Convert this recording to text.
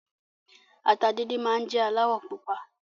Ata díndín máa n jẹ alawọ pupa.